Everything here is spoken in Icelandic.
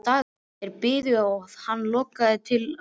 Þeir börðu hann þar til augu hans lokuðust.